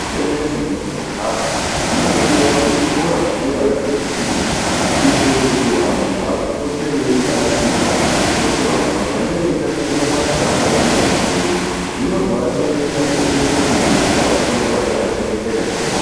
Mweshe mweshe metinogara chinongodiwa kuti zvikora zvefundo zvinge zvirimo kuitira kuti vapote veibatsirwa ngekuti vantu vakange veitaticha mabasa avanoda kuzoita muhupenyu zvinozovachengeta uye zvonozoita kuti mhuri dzawo dzigare dzakachengetedzeka chero vafa.